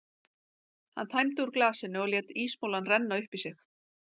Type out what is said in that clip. Hann tæmdi úr glasinu og lét ísmolann renna upp í sig.